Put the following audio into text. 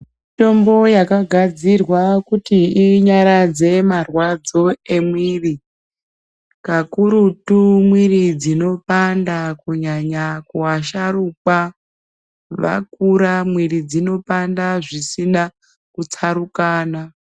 Mitombo yakagadzirwa kuti inyaradze marwadzo emwiiri, kakurutu mwiri dzinopaanda kunyanya kwashaurwa. Vakura mwiri dzinopaanda zvisina kutsarukana.